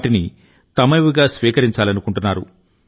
వాటిని తమవిగా స్వీకరించాలనుకుంటున్నారు